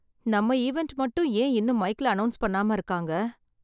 நம்ம ஈவென்ட் மட்டும் ஏன் இன்னும் மைக்ல அனௌன்ஸ் பண்ணாம இருக்காங்க.